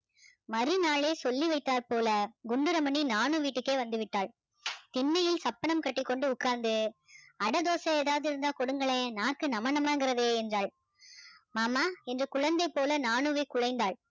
மறுநாளே சொல்லி வைத்தாற் போல குண்டு ரமணி நானு வீட்டுக்கே வந்து விட்டாள் திண்ணையில் சப்பனம் கட்டிக்கொண்டு உட்கார்ந்து அட தோசை ஏதாவது இருந்தா கொடுங்களேன் நாக்கு நம நமங்குறது என்றாள் மாமா என்று குழந்தை போல நானுவை குழைந்தாள்